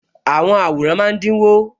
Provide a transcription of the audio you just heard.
Àwọn àwòrán máa dínwó